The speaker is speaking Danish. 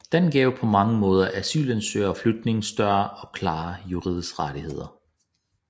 Den gav på mange måder asylansøgere og flygtninge større og klarere juridiske rettigheder